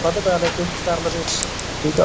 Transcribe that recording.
ਕਰ ਲਵੇ ਕੁੱਝ ਕਰ ਲਵੇ ਠੀਕ